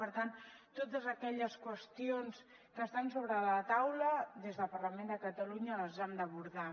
per tant totes aquelles qüestions que estan sobre la taula des del parlament de catalunya les hem d’abordar